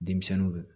Denmisɛnninw